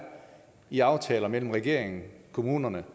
i aftaler mellem regeringen kommunerne